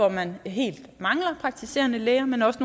at man helt mangler praktiserende læger men også